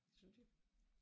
Synes jeg